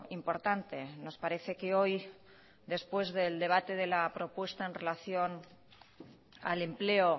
importante nos parece que hoy después del debate de la propuesta en relación al empleo